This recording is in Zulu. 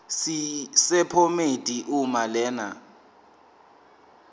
sephomedi uma lena